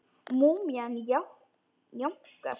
Múmían jánkar.